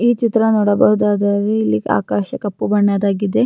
ಈ ಚಿತ್ರ ನೋಡಬಹುದಾದರೆ ಆಕಾಶ ಕಪ್ಪು ಬಣ್ಣದಾಗಿದೆ.